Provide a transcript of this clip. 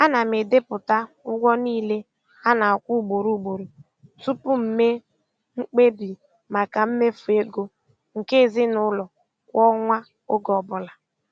Ana m edepụta ụgwọ niile a na-akwụ ugboro ugboro tupu m mee mkpebi maka mmefu ego nke ezinụụlọ kwa ọnwa oge ọbụla.